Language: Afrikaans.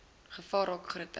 gevaar raak groter